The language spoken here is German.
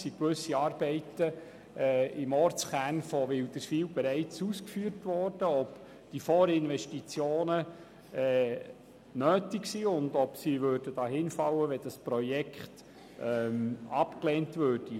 Gewisse Arbeiten im Ortskern von Wilderswil wurden bereits ausgeführt, und wir fragten, ob die Vorinvestitionen nötig sind und ob sie dahinfallen würden, wenn das Projekt abgelehnt würde.